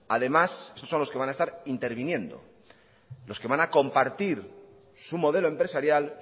estos son los que van a estar interviniendo los que van a compartir su modelo empresarial